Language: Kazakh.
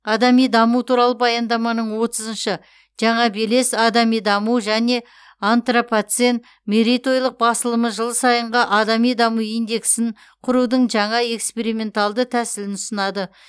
адами даму туралы баяндаманың отызыншы жаңа белес адами даму және антропоцен мерейтойлық басылымы жыл сайынғы адами даму индексін құрудың жаңа эксперименталды тәсілін ұсынады